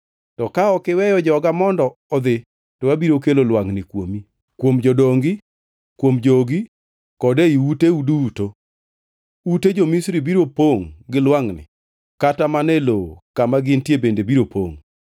To ka ok iweyo joga mondo odhi, to abiro kelo lwangʼni kuomi, kuom jodongi, kuom jogi kod ei uteu duto. Ute jo-Misri biro pongʼ gi lwangʼni kata mana e lowo kama gintie bende biro pongʼ.